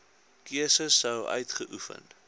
keuse sou uitgeoefen